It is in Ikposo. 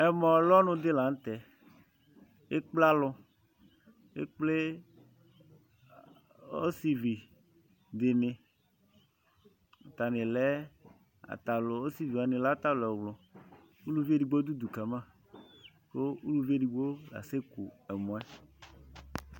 Ɛmɔlu ɔnu di la nu tɛ k'ekplé alu, ekplé ɔsivídini atani lɛ, ɔsivíwa ni lɛ atani ɛwlũ uluvi edigbo di dù udu kama, ku uluvi edigbo kasɛku ɛmɔɛ